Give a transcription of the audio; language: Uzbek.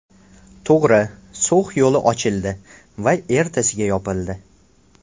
To‘g‘ri, So‘x yo‘li ochildi va ertasiga yopildi.